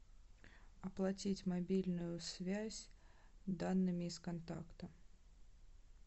оплатить мобильную связь данными из контакта